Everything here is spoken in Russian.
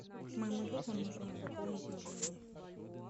моему другу нужно пополнить мобильный